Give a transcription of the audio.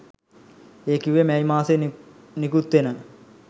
ඒ කිව්වේ මැයි මාසයේ නිකුත්වෙන